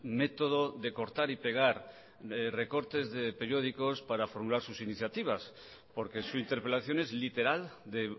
método de cortar y pegar recortes de periódicos para formular sus iniciativas porque su interpelación es literal de